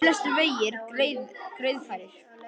Flestir vegir greiðfærir